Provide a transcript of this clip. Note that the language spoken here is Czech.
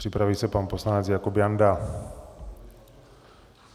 Připraví se pan poslanec Jakub Janda.